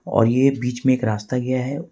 और ये बीच में एक रास्ता गया है।